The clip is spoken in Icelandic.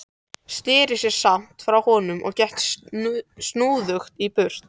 Sneri sér samt frá honum og gekk snúðugur í burtu.